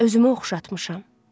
Özümü oxşatmışam.